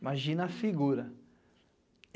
Imagina a figura.